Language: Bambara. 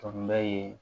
Fanba ye